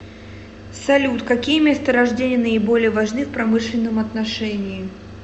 салют какие месторождения наиболее важны в промышленном отношении